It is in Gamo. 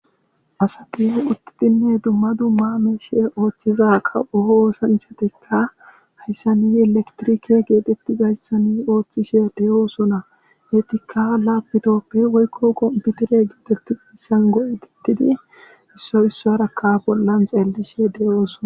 Asati uttidi dumma duma oso othiza kawo osanchati haysani elekitiriki gizaysan othishe de'osona ka kompitere goetidika issi issaysa xelishe de'osona